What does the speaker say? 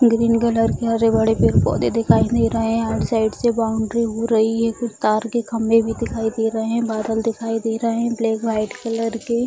green colour के हरे-भरे पेड़-पौधें दिखाई दे रहे हैं हर साइड से बाउंड्री हो रही है कुछ तार के खम्बे भी दिखाई दे रहें हैं बादल दिखाई दे रहें हैं ब्लैक वाइट कलर के --